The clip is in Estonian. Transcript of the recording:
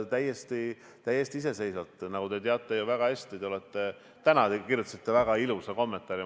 Te teate ju seda väga hästi, tänagi kirjutasite väga ilusa kommentaari.